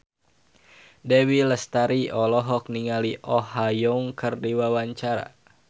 Dewi Lestari olohok ningali Oh Ha Young keur diwawancara